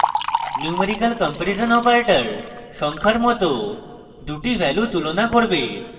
numerical comparison operator সংখ্যার মত দুটি ভ্যালু তুলনা করবে